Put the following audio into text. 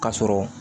Ka sɔrɔ